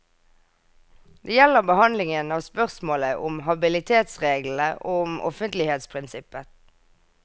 Det gjelder behandlingen av spørsmålet om habilitetsreglene og om offentlighetsprinsippet.